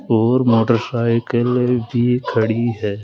और मोटरसाइकिल भी खड़ी है।